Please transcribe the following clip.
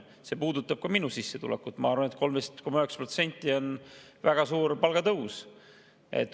See puudutab ka minu sissetulekut, ma arvan, et 13,9% on väga suur palgatõus.